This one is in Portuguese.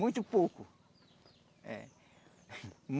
Muito pouco. É